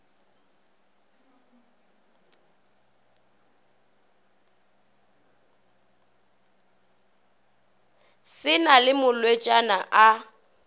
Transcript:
se na le malwetšana a